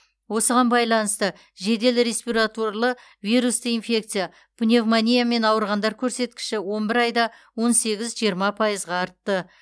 осыған байланысты жедел респираторлы вирусты инфекция пневмониямен ауырғандар көрсеткіші он бір айда он сегіз жиырма пайызға артты